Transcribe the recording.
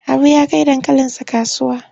Habu ya kai dankalinsa kasuwa.